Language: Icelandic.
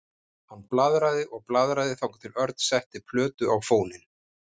Hann blaðraði og blaðraði þangað til Örn setti plötu á fóninn.